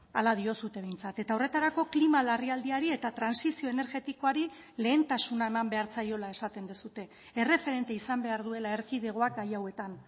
hala diozue behintzat eta horretarako klima larrialdiari eta trantsizio energetikoari lehentasuna eman behar zaiola esaten duzue erreferente izan behar duela erkidegoak gai hauetan